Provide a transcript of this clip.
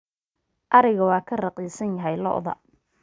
ariga waa ka raqiisan yahay lo'da